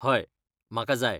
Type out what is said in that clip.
हय, म्हाका जाय.